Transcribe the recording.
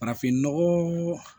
Farafinnɔgɔn